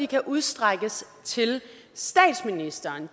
kan udstrækkes til statsministeren